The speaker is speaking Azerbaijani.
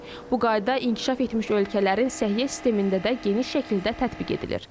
Bu qayda inkişaf etmiş ölkələrin səhiyyə sistemində də geniş şəkildə tətbiq edilir.